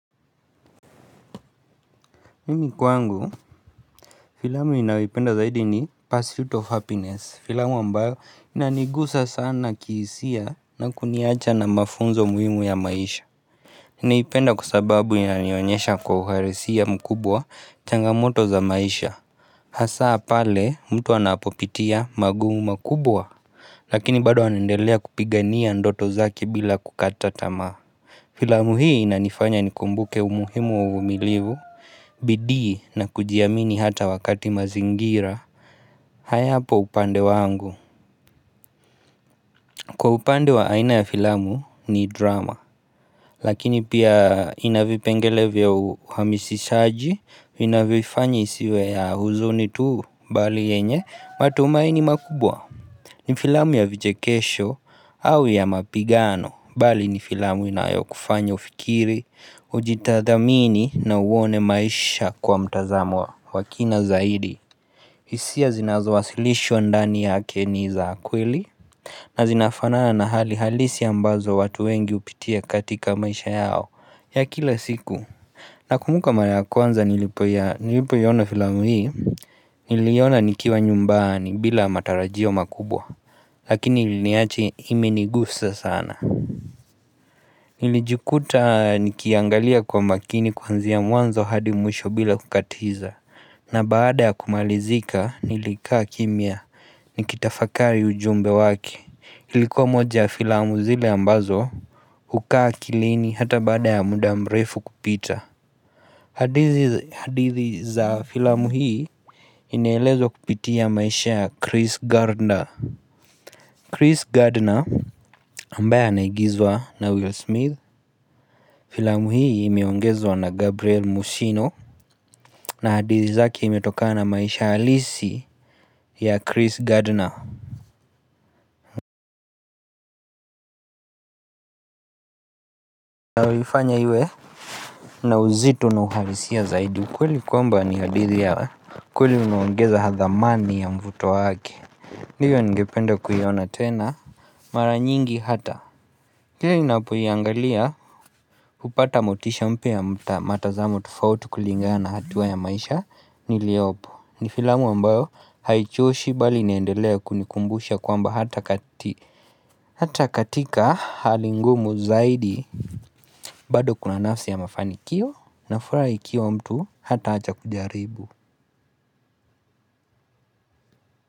Mimi kwangu, filamu ninayoipenda zaidi ni First Feet of Happiness. Filamu ambayo inanigusa sana kihisia na kuniacha na mafunzo muhimu ya maisha Naipenda kwa sababu inanionyesha kwa uharisia mkubwa changamoto za maisha Hasaa pale mtu anapopitia magumu makubwa Lakini bado anendelea kupigania ndoto zake bila kukata tamaa Filamu hii inanifanya nikumbuke umuhimu wa umilivu, bidii na kujiamini hata wakati mazingira hayapo upande wangu Kwa upande wa aina ya filamu ni dram. Lakini pia ina vipengele vya uhamisishaji, inavifanyi isiwe ya huzuni tu bali yenye matumaini makubwa ni filamu ya vijekesho au ya mapigano bali ni filamu inayo kufanya ufikiri, uji tadhamini na uone maisha kwa mtazamo wa kina zaidi. Hisia zinazo wasilisho ndani yake ni za kweli na zinafanaa na hali halisi ambazo watu wengi hupitia katika maisha yao ya kila siku. Nakumuka mara ya kwanza nilipoiona filamu hii Niliiona nikiwa nyumbani bila matarajio makubwa Lakini iliniacha imenigusa sana Nilijukuta nikiiangalia kwa makini kwanzia mwanzo hadi mwisho bila kukatiza. Na baada ya kumalizika nilikaa kimya nikitafakari ujumbe wake. Ilikuwa moja filamu zile ambazo hukaa wkilini hata baada ya muda mrefu kupita hadithi za filamu hii inaelezwa kupitia maisha ya Chris Gardner, Chris Gardner ambaye anagiizwa na Will Smith Filamu hii imeongezwa na Gabriel Musino na hadithi zake imetokana na maisha halisi ya Chris Gardner na huifanya iwe na uzito na uhalisia zaidi ukweli kwamba ni hadithi ya kweli uniongeza hadhamani ya mvuto wake, hiyo ninngependa kuiona tena mara nyingi hata kla ninapo iangalia hupata motisha mpya matazamu tufauti kulingana hatuwa ya maisha niliopo. Ni filamu ambayo haichoshi bali inaendelea kunikumbusha kwamba hata katika hali ngumu zaidi bado kuna nafsi ya mafanikio na furaha ikiwa mtu hataacha kujaribu.